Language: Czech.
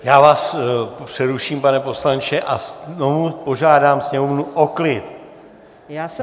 Já vás přeruším, pane poslanče, a znovu požádám sněmovnu o klid.